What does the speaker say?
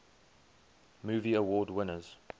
movie award winners